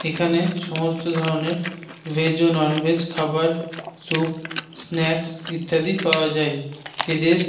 এখানে সমস্ত ধরনের ভেজ ও ননভেজ খাবার স্যুপ স্নাক্স ইত্যাদি পাওয়া যায়। এদের--